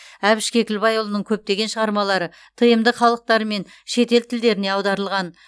әбіш кекілбайұлының көптеген шығармалары тмд халықтары мен шетел тілдеріне аударылған